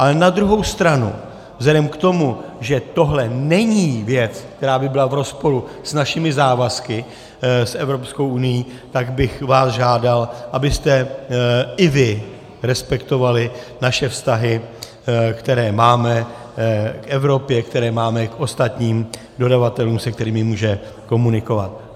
Ale na druhou stranu vzhledem k tomu, že tohle není věc, která by byla v rozporu s našimi závazky s Evropskou unií, tak bych vás žádal, abyste i vy respektovali naše vztahy, které máme k Evropě, které máme k ostatním dodavatelům, se kterými může komunikovat.